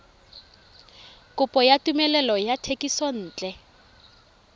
kopo ya tumelelo ya thekisontle